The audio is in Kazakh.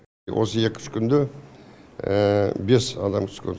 осы екі үш күнде бес адам түскен